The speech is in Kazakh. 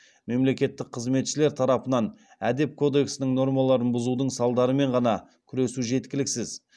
мемлекеттік қызметшілер тарапынан әдеп кодексінің нормаларын бұзудың салдарымен ғана күресу жеткіліксіз